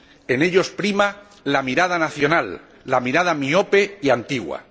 En ellos prima la mirada nacional, la mirada miope y antigua.